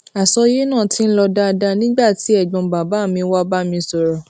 àsọyé náà ti ń lọ dáadáa nígbà tí ègbón bàbá mi wá bá mi sòrò